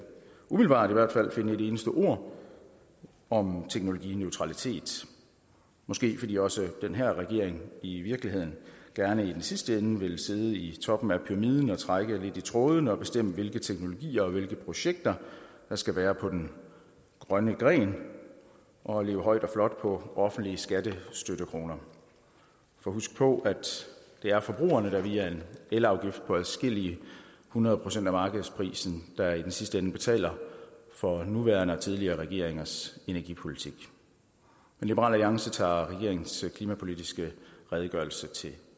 umiddelbart finde et eneste ord om teknologineutralitet måske fordi også den her regering i virkeligheden gerne i den sidste ende vil sidde i toppen af pyramiden og trække lidt i trådene og bestemme hvilke teknologier og projekter der skal være på den grønne gren og leve højt og flot på offentlige skattestøttekroner for husk på at det er forbrugerne der via en elafgift på adskillige hundrede procent af markedsprisen der er i sidste ende betaler for nuværende og tidligere regeringers energipolitik men liberal alliance tager regeringens klimapolitiske redegørelse til